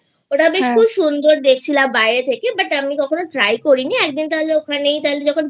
ওটা খুব সুন্দর দেখছিলাম বাইরে থেকে but আমি কখনো try করি নি একদিন তাহলে ওখানেই তাহলে যখন